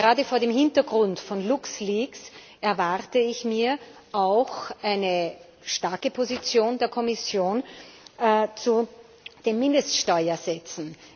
Gerade vor dem Hintergrund von LuxLeaks erwarte ich mir auch eine starke Position der Kommission zu den Mindeststeuersätzen.